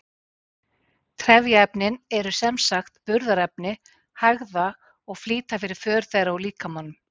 Trefjaefnin eru sem sagt burðarefni hægða og flýta fyrir för þeirra úr líkamanum.